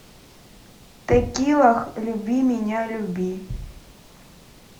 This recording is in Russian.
текила люби меня люби